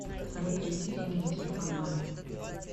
салют переведи деньги на телефон маме